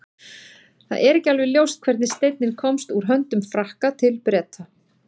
það er ekki alveg ljóst hvernig steinninn komst úr höndum frakka til breta